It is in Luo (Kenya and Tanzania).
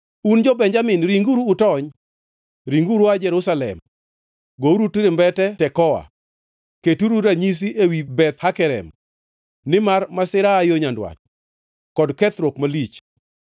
“Un jo-Benjamin, ringuru utony! Ringuru ua Jerusalem! Gouru turumbete Tekoa! Keturu ranyisi ewi Beth Hakerem! Nimar masira aa yo nyandwat, kod kethruok malich.